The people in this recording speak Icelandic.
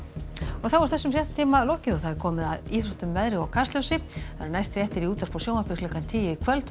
þá er þessum fréttatíma lokið og komið að íþróttum veðri og Kastljósi næstu fréttir eru í útvarpi og sjónvarpi klukkan tíu í kvöld og